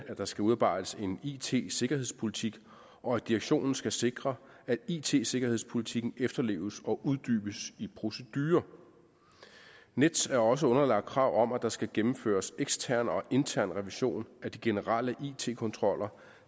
der skal udarbejdes en it sikkerhedspolitik og at direktionen skal sikre at it sikkerhedspolitikken efterleves og uddybes i procedurer nets er også underlagt krav om at der skal gennemføres ekstern og intern revision af de generelle it kontroller